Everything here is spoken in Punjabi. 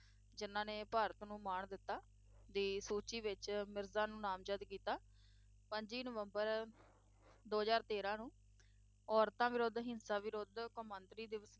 ਜਿਨ੍ਹਾਂ ਨੇ ਭਾਰਤ ਨੂੰ ਮਾਣ ਦਿੱਤਾ ਦੀ ਸੂਚੀ ਵਿੱਚ ਮਿਰਜ਼ਾ ਨੂੰ ਨਾਮਜ਼ਦ ਕੀਤਾ, ਪੱਚੀ ਨਵੰਬਰ ਦੋ ਹਜ਼ਾਰ ਤੇਰਾਂ ਨੂੰ ਔਰਤਾਂ ਵਿਰੁੱਧ ਹਿੰਸਾ ਵਿਰੁੱਧ ਕੌਮਾਂਤਰੀ ਦਿਵਸ